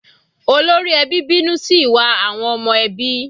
Olórí ẹbí bínú sí ìwà àwọn ọmọ ẹbí.